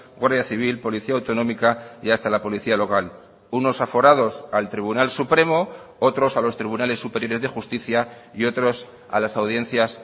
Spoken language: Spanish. guardia civil policía autonómica y hasta la policía local unos aforados al tribunal supremo otros a los tribunales superiores de justicia y otros a las audiencias